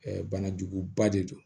banajuguba de don